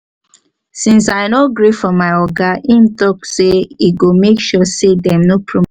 since i no gree for my oga im talk say e go make sure say dem no promote